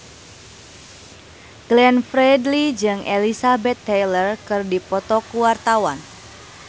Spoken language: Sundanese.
Glenn Fredly jeung Elizabeth Taylor keur dipoto ku wartawan